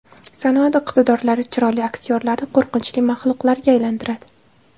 Sanoat iqtidorlari chiroyli aktyorlarni qo‘rqinchli maxluqlarga aylantiradi.